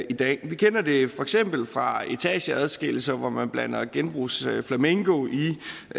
i dag vi kender det for eksempel fra etageadskillelser hvor man blander genbrugsflamingo i